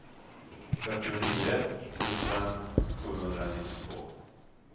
fyrtionio tusen sjuhundranittiotvå